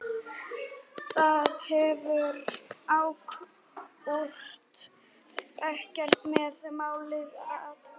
Það hefur akkúrat ekkert með málið að gera!